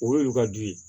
O y'olu ka di ye